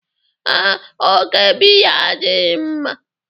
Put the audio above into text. Ee, oke biya adịghị mma